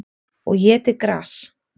Og étið gras.